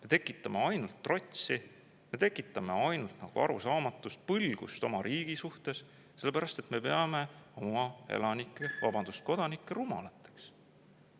Me tekitame ainult trotsi, me tekitame ainult arusaamatust, põlgust oma riigi suhtes, sellepärast et me peame oma elanikke, vabandust, kodanikke rumalateks.